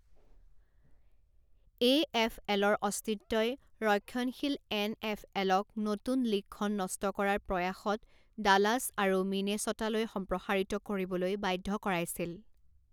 এ এফ এলৰ অস্তিত্বই ৰক্ষণশীল এন এফ এলক নতুন লীগখন নষ্ট কৰাৰ প্ৰয়াসত ডালাছ আৰু মিনেছ'টালৈ সম্প্ৰসাৰিত কৰিবলৈ বাধ্য কৰাইছিল।